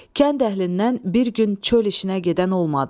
Kənd əhlindən bir gün çöl işinə gedən olmadı.